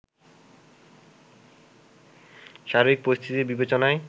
সার্বিক পরিস্থিতির বিবেচনায়